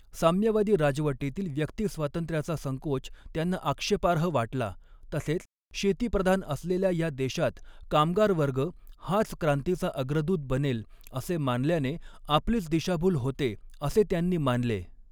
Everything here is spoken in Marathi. साम्यवादी राजवटीतिल व्यक्तिस्वातंत्र्याचा संकोच त्यांना आक्षेपार्ह वाटला तसेच शेतीप्रधान असलेल्या या देशात कामगारवर्ग हाच क्रांतीचा अग्रदूत बनेल असे मानल्याने आपलीच दिशाभूल होते असे त्यांनी मानले.